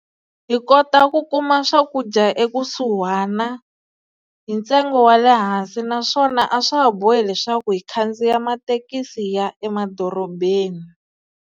Hi kota ku kuma swakudya ekusuhana hi ntsengo wa le hansi naswona a swa ha bohi leswaku hi khandziya mathekisi hi ya emadorobeni.